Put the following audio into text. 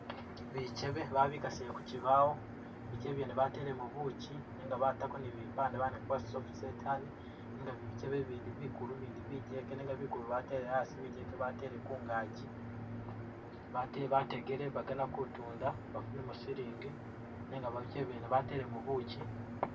Bikyebe babikasile ku kibaawo, bikebe byene batelemu bukyi nenga batako ni bipande bawandikako bati soft set honey. Nenga bikebe Bindi bikulu bindi bigyeke nenga bikulu batele asi bigeke batele kungaji, bate bategele bagana kutunda badunemu silingi nenga bikebe mwene batelemo bukyi.